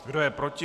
Kdo je proti?